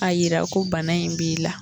A jira ko bana in b'i la